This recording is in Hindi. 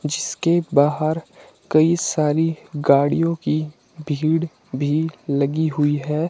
जिसके बाहर कई सारी गाड़ियों की भीड़ भी लगी हुई है।